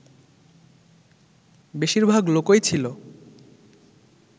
বেশির ভাগ লোকই ছিল